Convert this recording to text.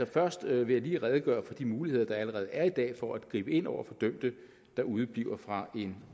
først vil jeg lige redegøre for de muligheder der allerede er i dag for at gribe ind over for dømte der udebliver fra en